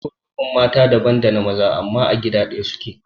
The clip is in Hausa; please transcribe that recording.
kurkukun mata daban dana maza amma a gida ɗaya suke